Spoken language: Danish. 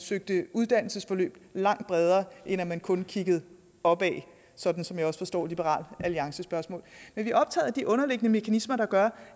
søgte uddannelsesforløb langt bredere end at man kun kiggede opad sådan som jeg også forstår liberal alliances spørgsmål men vi er optaget af de underliggende mekanismer der gør